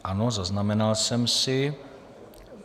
Ano, zaznamenal jsem si.